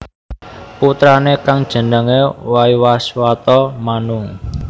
Putrané kang jenengé Waiwaswata Manu